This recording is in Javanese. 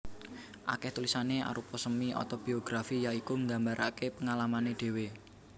Akèh tulisané arupa semi otobiografi ya iku nggambaraké pengalamané dhéwé